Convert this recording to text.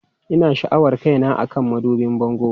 Ina sha'awar kaina akan madubin bango.